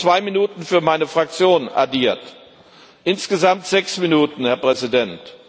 Ich habe noch zwei Minuten für meine Fraktion addiert insgesamt sechs Minuten, Herr Präsident!